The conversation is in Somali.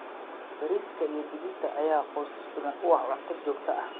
Bariiska iyo digirta ayaa qoysas badan u ah cunto joogto ah.